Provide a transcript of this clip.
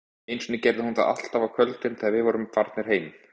Einu sinni gerði hún það alltaf á kvöldin, þegar við vorum farnir heim